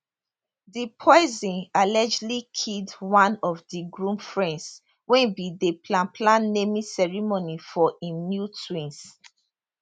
di poison allegedly kill one of di groom friends wey bin dey plan plan naming ceremony for im new twins